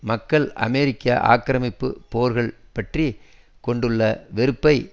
மக்கள் அமெரிக்க ஆக்கிரமிப்பு போர்கள் பற்றி கொண்டுள்ள வெறுப்பை